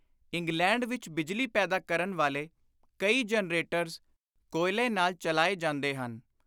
England ਵਿਚ ਬਿਜਲੀ ਪੈਦਾ ਕਰਨ ਵਾਲੇ ਕਈ ਜੈਨਰੇਟਰਜ਼ ਕੋਇਲੇ ਨਾਲ ਚਲਾਏ ਜਾਂਦੇ ਹਨ।